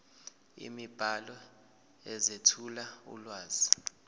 imibhalo ezethula ulwazi